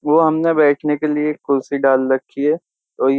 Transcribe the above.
वो हमने बैठने के लिए कुर्सी डाल रखी है।